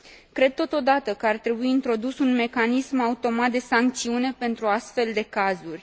Cred totodată că ar trebui introdus un mecanism automat de sancțiune pentru astfel de cazuri.